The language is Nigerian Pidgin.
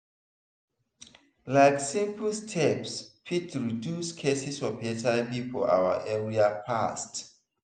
like simple steps fit reduce cases of hiv for our area fast.